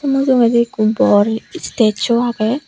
mujongedi ikko bor istesu agey.